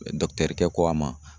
ko a ma